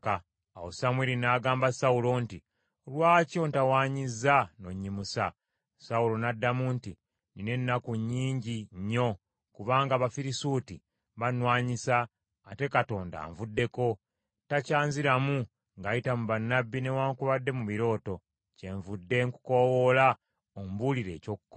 Awo Samwiri n’agamba Sawulo nti, “Lwaki ontawanyizza n’onnyimusa?” Sawulo n’addamu nti, “Nnina ennaku nnyingi nnyo, kubanga Abafirisuuti bannwanyisa, ate Katonda anvuddeko. Takyanziramu ng’ayita mu bannabbi newaakubadde mu birooto. Kyenvudde nkukoowoola ombuulire eky’okukola.”